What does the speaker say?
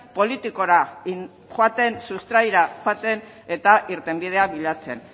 politikora joaten sustraira joaten eta irtenbidea bilatzen